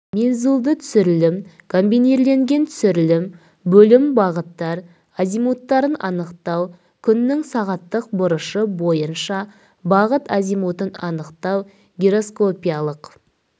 мензульді түсірілім комбинирленген түсірілім бөлім бағыттар азимуттарын анықтау күннің сағаттық бұрышы бойынша бағыт азимутын анықтау гироскопиялық